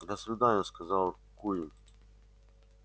до свидания сказал куинн